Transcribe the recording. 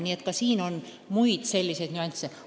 Mängus on muidki selliseid nüansse.